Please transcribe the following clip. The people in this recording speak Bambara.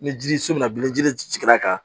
Ni ji so bɛna bili ni jiri sigira ka